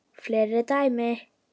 Fleiri dæmi